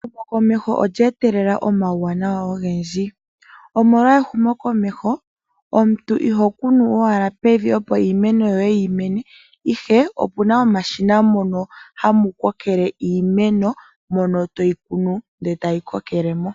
Ehumokomeho olyeetelela omauwanawa ogendji omolwa ehumokomeho omuntu iho kunu owala pevi opo iimeno yoye yi mene ihe opuna omashina mono hamu kokelele iimeno mono toyi kunu ndele tayi kokelele mo